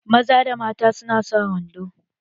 Maza da mata su na sa wando